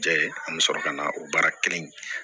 Jɛ an bɛ sɔrɔ ka na o baara kelen kɛ